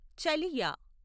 చలియా